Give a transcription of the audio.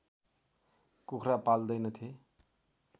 कुखुरा पाल्दैनथे